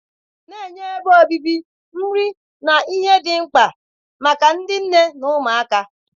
na-enye ebe obibi, nri, na ihe ndị dị mkpa maka ndị nne na ụmụaka,